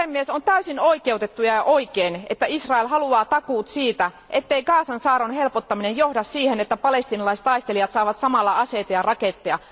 On täysin oikeutettua ja oikein, että Israel haluaa takuut siitä, ettei Gazan saarron helpottaminen johda siihen, että palestiinalaistaistelijat saavat samalla aseita ja raketteja.